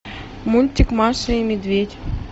мультик маша и медведь